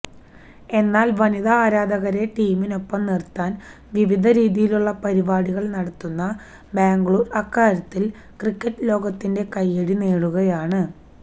എന്നാൽ വനിതാ ആരാധകരെ ടീമിനൊപ്പം നിര്ത്താന് വിവിധ രീതിയിലുള്ള പരിപാടികൾ നടത്തുന്ന ബാംഗ്ലൂർ അക്കാര്യത്തിൽ ക്രിക്കറ്റ് ലോകത്തിൻ്റെ കയ്യടി നേടുകയാണ്